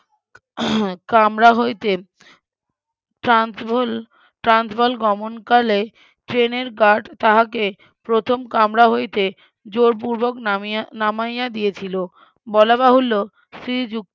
কামরা হইতে Transvaal Transvaal গমনকালে ট্রেনের গার্ড তাহাকে প্রথম কামরা হইতে জোড় পূর্বক নামিয়া নামাইয়া দিয়েছিল বলা বাহুল্য শ্রীযুক্ত